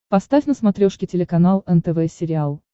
поставь на смотрешке телеканал нтв сериал